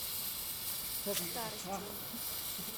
старостина